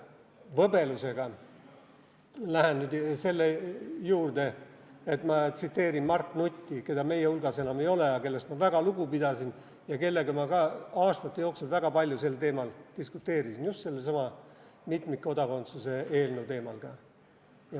– võbelusega lähen nüüd selle juurde, et ma tsiteerin Mart Nutti, keda meie hulgas enam ei ole, aga kellest ma väga lugu pidasin ja kellega ma ka aastate jooksul väga palju sel teemal diskuteerisin, just sellesama mitmikkodakondsuse eelnõu teemadel.